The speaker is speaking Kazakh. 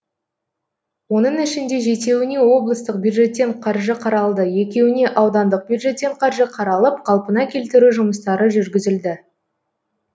оның ішінде жетеуіне облыстық бюджеттен қаржы қаралды екеуіне аудандық бюджеттен қаржы қаралып қалпына келтіру жұмыстары жүргізілді